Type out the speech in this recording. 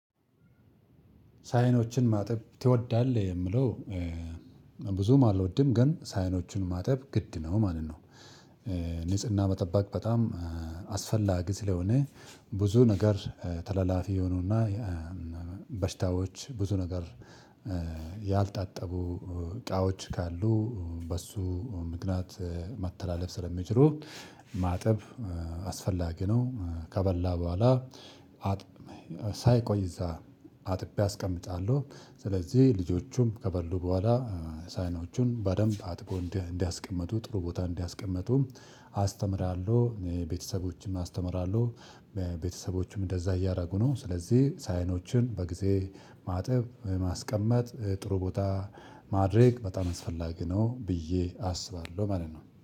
ሳህኖችን ማጠብ ትወዳለህ የምለው? ብዙም አልወድም ግን ሳህኖችን ማጠብ ግድ ነው ማለት ነው። ንጽህና መጠበቅ በጣም አስፈላጊ ስለሆነ ብዙ ነገር ተለላፊ የሆኑና በሽታዎች ብዙ ነገር ያልታጠቡ እቃዎች ካሉ በሱ ምክንያት መተላለፍ ስለሚችሉ ማጠብ አስፈላጊ ነው። ከበላ በኋላ ሳይቆይ እዛ አጥቤ አስቀምጣለሁ። ስለዚህ ልጆቹም ከበሉ በኋላ ሳህኖቹን በደንብ አጥቦ እንዲያስቀምጡ ጥሩ ቦታ እንዲያስቀምጡ አስተምራለሁ ቤተሰቦችም አስተምራለሁ። ቤተሰቦችም እንደዛ እያደረጉ ነው። ስለዚህ ሳህኖችን በጊዜ ማጠብ ማስቀመጥ ጥሩ ቦታ ማድረግ በጣም አስፈላጊ ነው ብዬ አስባለሁ ማለት ነው